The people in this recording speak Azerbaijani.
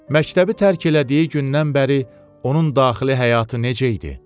Məktəbi tərk elədiyi gündən bəri onun daxili həyatı necə idi?